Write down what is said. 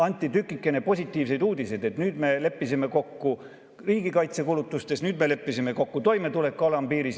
Anti tükikene positiivseid uudiseid, et nüüd me leppisime kokku riigikaitsekulutustes, nüüd me leppisime kokku toimetuleku alampiiris.